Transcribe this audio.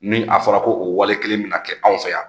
Ni a fɔra ko o wale kelen bɛna kɛ anw fɛ yan